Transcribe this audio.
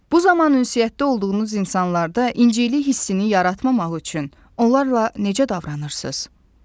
Bu zaman ünsiyyətdə olduğunuz insanlarda inciklik hissini yaratmamaq üçün onlarla necə davranırsız?